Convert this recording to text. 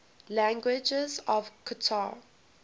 languages of qatar